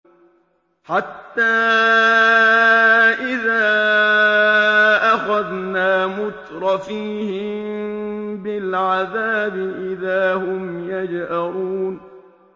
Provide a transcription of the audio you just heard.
حَتَّىٰ إِذَا أَخَذْنَا مُتْرَفِيهِم بِالْعَذَابِ إِذَا هُمْ يَجْأَرُونَ